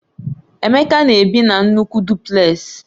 Emeka na-ebi na nnukwu Dupleks